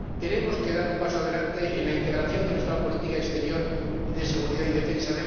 tenemos que dar un paso adelante en la integración de nuestra política exterior y de seguridad y defensa.